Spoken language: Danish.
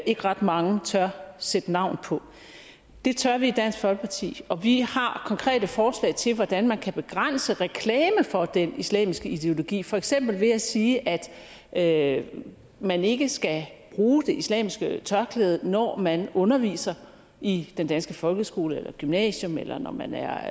ikke ret mange tør sætte navn på det tør vi i dansk folkeparti og vi har konkrete forslag til hvordan man kan begrænse reklame for den islamiske ideologi for eksempel ved at sige at at man ikke skal bruge det islamiske tørklæde når man underviser i den danske folkeskole eller i gymnasium eller når man er